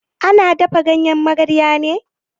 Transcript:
Ana dafa ganyen magarya ne?